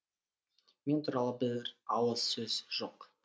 мен туралы бір ауыз сөз жоқ